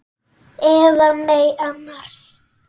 Eða nei annars.